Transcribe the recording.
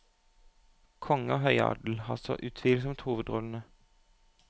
Konge og høyadel har så utvilsomt hovedrollene.